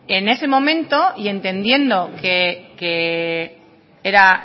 en ese momento y entendiendo que era